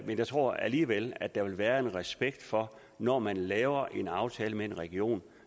jeg tror alligevel at der vil være en respekt for at når man laver en aftale med en region